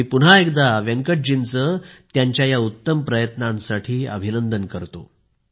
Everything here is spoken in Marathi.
मी पुन्हा एकदा वेंकटजींचे त्यांच्या उत्तम प्रयत्नांसाठी अभिनंदन करतो